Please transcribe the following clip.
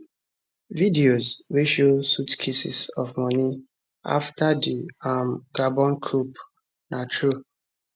videos wey show suitcases of money afta di um gabon coup na true